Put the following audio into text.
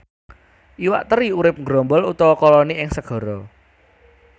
Iwak teri urip nggrombol utawa koloni ing segara